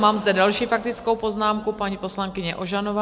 Mám zde další faktickou poznámku - paní poslankyně Ožanová.